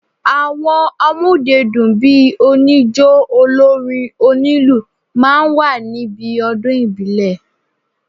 Àwọn amódedùn bíi oníjó, olórin, onílù máa ń wà níbí ọdún ìbílẹ̀